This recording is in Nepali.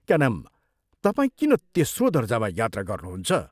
क्या नाम तपाई किन तेस्रो दर्जामा यात्रा गर्नुहुन्छ?